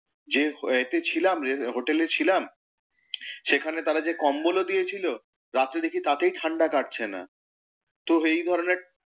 যে হোয়েতে ছিলাম এর হোটেলে ছিলাম, সেখানে তারা যে কম্বলও দিয়েছে রাত্রে দেখি তাতেই ঠাণ্ডা কাটছে না, তো এই ধরণের,